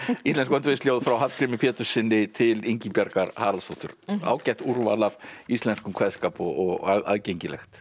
íslensk frá Hallgrími Péturssyni til Ingibjargar Haraldsdóttur ágætt úrval af íslenskum kveðskap og aðgengilegt